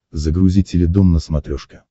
загрузи теледом на смотрешке